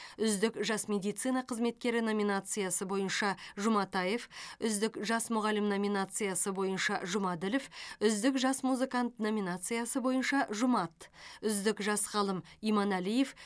үздік жас медицина қызметкері номинациясы бойынша жұматаев үздік жас мұғалім номинациясы бойынша жұмаділов үздік жас музыкант номинациясы бойынша жұмат үздік жас ғалым т иманәлиев